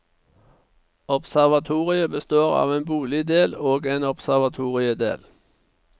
Observatoriet består av en boligdel og en observatoriedel.